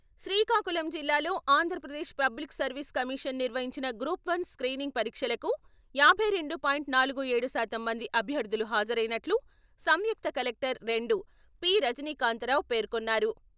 శ్రీకాకుళం జిల్లాలో Andhra Pradesh public service commission నిర్వహించిన group one screening పరీక్షలకు యాభై రెండు పాయింట్ నాలుగు ఏడు శాతం మంది అభ్యర్థులు హాజరైనట్లు రెండవ సంయుక్త కలెక్టర్ పి.రజనీకాంతారావు పేర్కొన్నారు.